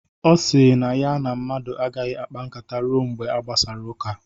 Ọ sịrị na ya na mmadụ agaghị akpa nkata ruo mgbe a gbasara ụka